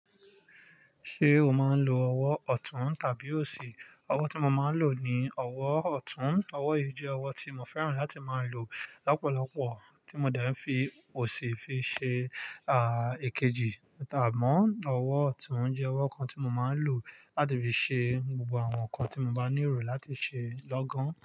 Ṣé o máa ń lo ọwọ́ ọ̀tún tàbí òsì? Ọwọ́ tí mo máa ń lò ni ọwọ́ ọ̀tún. Ọwọ́ yìí jẹ́ ọwọ́ tí mo fẹ́ràn láti máa ń lò lọ́pọ̀lọpọ̀, tí mo dẹ́ n fi òsì fi ṣe, èkejì, amọ́ ọwọ́ ọ̀tún jẹ́ ọwọ́ kan tí mo máa ń lò láti fi ṣe gbogbo àwọn nǹkan tí mo bá ní ero láti ṣe lọ́gán.